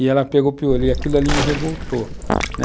e ela pegou piolho, e aquilo ali me revoltou, né?